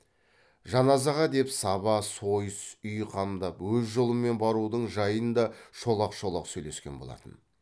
жаназаға деп саба сойыс үй қамдап өз жолымен барудың жайын да шолақ шолақ сөйлескен болатын